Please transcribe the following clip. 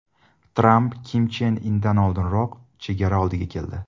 Tramp Kim Chen Indan oldinroq chegara oldiga keldi.